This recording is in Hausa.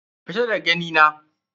Fita daga gani na.